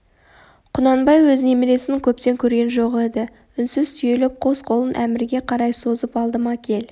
құнанбай өз немересін көптен көрген жоқ еді үнсіз түйіліп қос қолын әмірге қарай созып алдыма кел